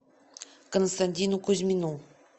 константину кузьмину